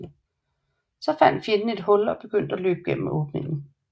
Så fandt fjenden et hul og begyndte at løbe gennem åbningen